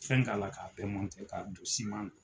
Fɛn k'a la k'a bɛɛ mɔnte k'a don siman na